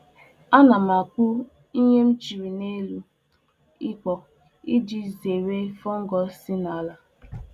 Ana m echekpo ihe m rụpụtara n'ubi n'elu ihe iji gbochie nje isite n'ala banye n'ala banye ha.